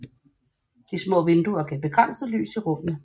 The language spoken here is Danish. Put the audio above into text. De små vinduer gav begrænset lys i rummene